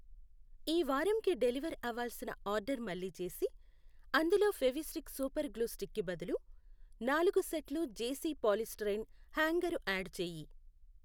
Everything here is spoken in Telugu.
ఈ వారంకి డెలివర్ అవ్వాల్సిన ఆర్డర్ మళ్ళీ చేసి అందులో ఫెవిస్టిక్ సూపర్ గ్లూ స్టిక్ కి బదులు నాలుగు సెట్లు జేసీ పాలిస్టయిరీన్ హ్యాంగరు యాడ్ చేయి.